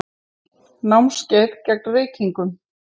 Námskeið gegn reykingum.